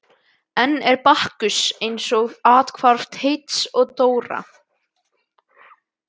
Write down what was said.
Enn er Bakkus eins og fyrr athvarf Teits og Dóra.